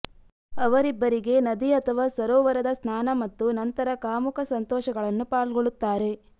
ಅವರಿಬ್ಬರಿಗೆ ನದಿ ಅಥವಾ ಸರೋವರದ ಸ್ನಾನ ಮತ್ತು ನಂತರ ಕಾಮುಕ ಸಂತೋಷಗಳನ್ನು ಪಾಲ್ಗೊಳ್ಳುತ್ತಾರೆ